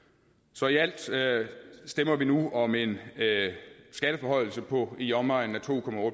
så i alt alt stemmer vi nu om en skatteforhøjelse på i omegnen af to